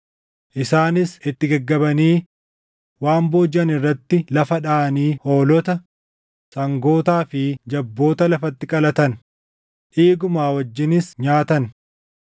Isaanis itti gaggabanii waan boojiʼan irratti lafa dhaʼanii hoolota, sangootaa fi jabboota lafatti qalatan; dhiiguma wajjinis nyaatan.